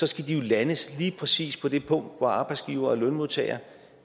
skal de landes lige præcis på det punkt hvor arbejdsgivere og lønmodtagere